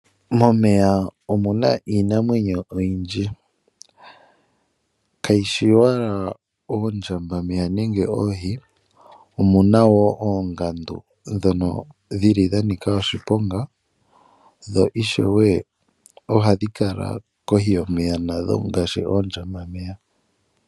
Momeya omuna iinamwenyo oyindji, kayi shi owala oondjambameya nenge oohi omu na wo oongandu ndhono dhi li dha nika oshiponga, dho ishewe ohadhi kala kohi yomeya nadho ngaashi oondjambameya.